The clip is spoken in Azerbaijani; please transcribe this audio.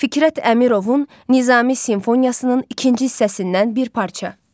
Fikrət Əmirovun Nizami simfoniyasının ikinci hissəsindən bir parça.